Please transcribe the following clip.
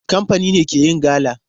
Kamfani ne ke yin gala.